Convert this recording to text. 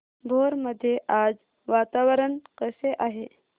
भोर मध्ये आज वातावरण कसे आहे